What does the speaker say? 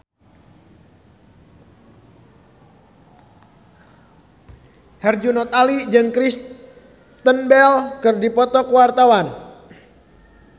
Herjunot Ali jeung Kristen Bell keur dipoto ku wartawan